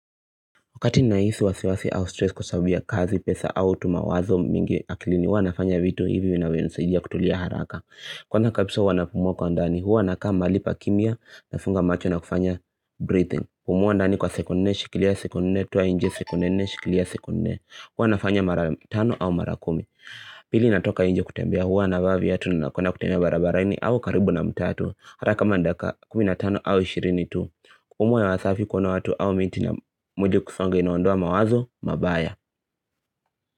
Wakati nahisi wasiwasi au stress kwa sababu ya kazi pesa au tu mawazo mingi akilini wanafanya vitu hivi vinavyonisaidia kutulia haraka Kwanza kabisa huwa napumua kwa ndani huwa nakaa mahali pa kimya nafunga macho na kufanya breathing Pumua ndani kwa sekunde nne, shikilia sekunde nne, toa nje sekunde nne, shikilia sekunde nne Hua nafanya mara 5 au mara 10 Pili natoka nje kutembea hua na bavi yatu na nakona kutembea barabaraini au karibu na mtatu haraka mandaka 15 au 20 tu Kupumuwa ya wasafi kuna watu au minti na nje kusonge inaondoa mawazo, mabaya.